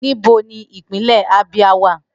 Nibo ni Ipinle Abia wa?